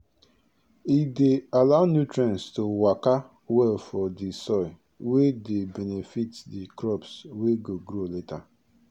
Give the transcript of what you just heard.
e dey allow nutrients to waka well for di soil wey dey benefit di crops wey go grow later